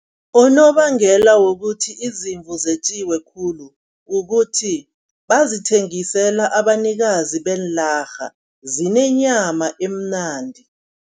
Unobangela wokuthi izimvu zetjiwe khulu kukuthi bazithengisela abanikazi beenlarha. Zinenyama emnandi.